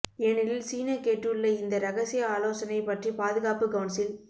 ஏனெனில் சீன கேட்டுள்ள இந்த ரகசிய ஆலோசனை பற்றி பாதுகாப்பு கவுன்சில்